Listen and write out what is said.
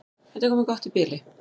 Þetta er komið gott í bili.